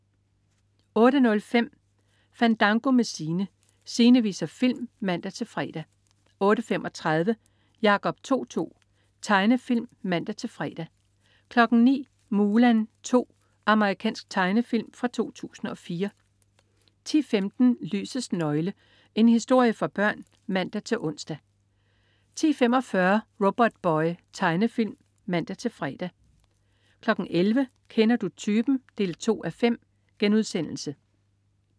08.05 Fandango med Sine. Sine viser film (man-fre) 08.35 Jacob To-To. Tegnefilm (man-fre) 09.00 Mulan 2. Amerikansk tegnefilm fra 2004 10.15 Lysets nøgle. En historie for børn (man-ons) 10.45 Robotboy. Tegnefilm (man-fre) 11.00 Kender du typen? 2:5*